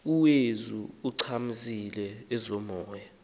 ueuze ichakamise ezomoya